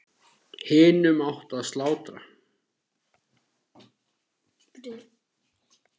Hinum átti að slátra.